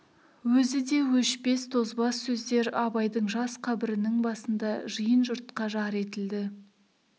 өзі де өшпес тозбас сөздер абайдың жас қабірінің басында жиын жұртқа жар етілді